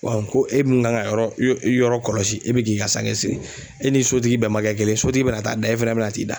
ko e min kan ka yɔrɔ kɔlɔsi e bi k'i ka sangɛ sigi e ni sotigi bɛn ma kɛ kelen ye sotigi bɛna taa da e fana bɛna t'i da